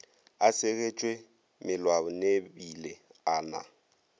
a segetšwe mellwaneebile a na